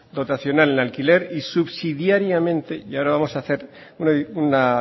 dotacional en alquiler y subsidiariamente y ahora vamos a hacer una